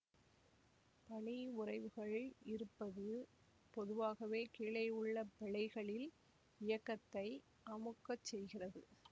பனியுறைவுகள் இருப்பது பொதுவாகவே கீழேவுள்ள பிழைகளில் இயக்கத்தை அமுக்கச் செய்கிறது